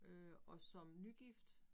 Øh og som nygift